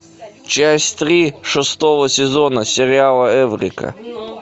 часть три шестого сезона сериала эврика